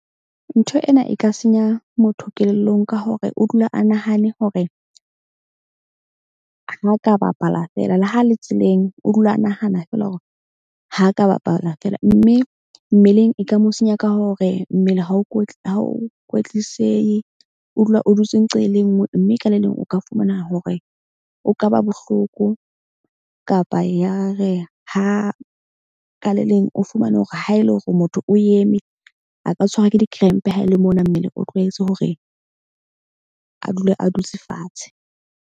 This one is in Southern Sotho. Ntho ena e ka senya motho kelellong ka hore o dula a nahane hore ha a ka bapala feela. Le ha le tseleng, o dula a nahana feela hore ha ka bapala feela. Mme mmeleng e ka mo senya ka hore mmele ha o ha ho kwetlisehe. O dula o dutse nqa e le nngwe. Mme ka le leng o ka fumana hore o kaba bohloko kapa ya re ha ka le leng o fumane hore ha ele hore motho o eme a ka tshwarwa ke di-cramp haele mona mmele o tlwaetse hore a dule a dutse fatshe.